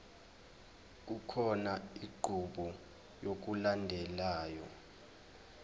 kukhona inqubo yokulandelayo